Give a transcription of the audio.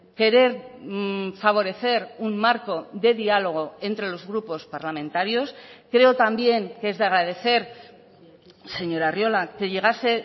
querer favorecer un marco de diálogo entre los grupos parlamentarios creo también que es de agradecer señor arriola que llegase